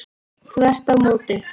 Þvert á móti.